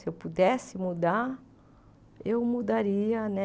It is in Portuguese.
Se eu pudesse mudar, eu mudaria, né?